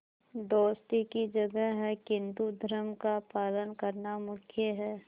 दोस्ती की जगह है किंतु धर्म का पालन करना मुख्य है